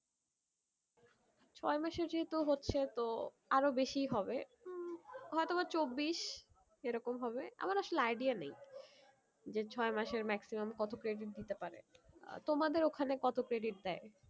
ছয় মাসে যেহুতু হচ্ছে তো আরো বেশি হবে হয়তো বা চব্বিশ এরকম হবে আমার আসলে idea নেই যে ছয় মাসের maximum কত credit দিতে পারে তোমাদের ওখানে কত credit দেয়?